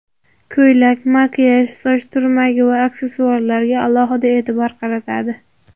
Ko‘ylak, makiyaj, soch turmagi va aksessuarlarga alohida e’tibor qaratadi.